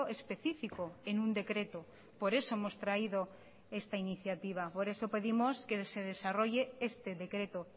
específico en un decreto por eso hemos traído esta iniciativa por eso pedimos que se desarrolle este decreto